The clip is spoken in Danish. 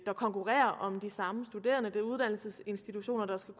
der konkurrerer om de samme studerende og det er uddannelsesinstitutioner der skal